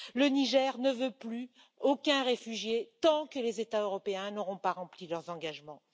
Le Niger ne veut plus aucun réfugié tant que les États européens n'auront pas rempli leurs engagements.